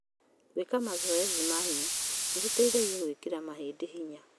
Gwĩka mazoezi ma hinya nĩ gũteithagia gwĩkĩra mahĩndĩ hinya.